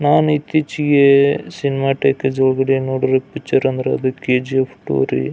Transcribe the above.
ನಾನ್ ಇತ್ತೀಚಿಗೆ cinema theatres ಹೋಗಿ ನೋಡಿರೋ ಪಿಕ್ಚರ್ ಅಂದ್ರೆ ಅದು ಕೆ.ಜಿ.ಎಫ್ ರೀ.